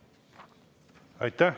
Aitäh!